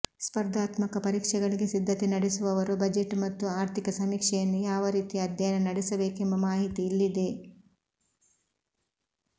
ಸ್ಪರ್ಧಾತ್ಮಕ ಪರೀಕ್ಷೆಗಳಿಗೆ ಸಿದ್ಧತೆ ನಡೆಸುವವರು ಬಜೆಟ್ ಮತ್ತು ಆರ್ಥಿಕ ಸಮೀಕ್ಷೆಯನ್ನು ಯಾವ ರೀತಿ ಅಧ್ಯಯನ ನಡೆಸಬೇಕೆಂಬ ಮಾಹಿತಿ ಇಲ್ಲಿದೆ